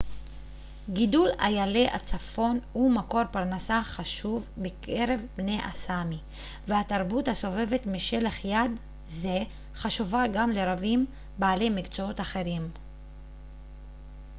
גידול איילי הצפון הוא מקור פרנסה חשוב בקרב בני הסאמי והתרבות הסובבת משלח יד זה חשובה גם לרבים בעלי מקצועות אחרים